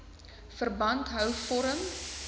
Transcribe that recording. verband hou vorm